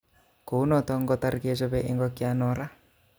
Kou noton kotor kechope ing'okyan non raa